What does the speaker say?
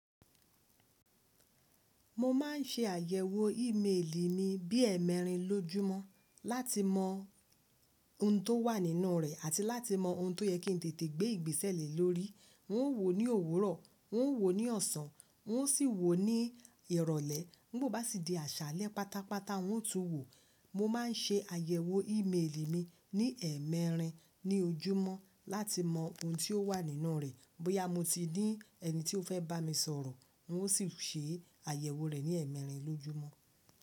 Mo ma n ṣe àyẹ̀wò ímeèlì mi bí ẹmẹrin lójúmọ́ láti mọ ohun tó wà nínú rẹ̀ àti láti mọ ohun tó yẹ kí n tètè gbé ìgbésẹ̀ le lórí. N ó wò ó ní òwúrọ̀, n ó wò ó ní ọ̀sán, n ó sì wò ó ní ìrọ̀lẹ́. Nígbò bá sì di àṣálẹ́ pátápátá un ó tún wò. Mo ma n ṣe àyẹ̀wò ímeèlì mi ní ẹmẹrin ní ojúmọ́ láti mọ ohun ti ó wà nínú rẹ̀. Bóyá mo ti ní ẹni tí ó fẹ́ bá mi sọ̀rọ̀ un ó sì ṣe àyẹ̀wò rẹ̀ ní ẹmẹrin lójúmọ́.